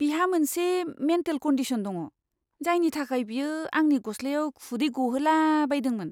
बिहा मोनसे mental condition दङ, जायनि थाखाय बियो आंनि गस्लायाव खुदै गहोला बायदोंमोन।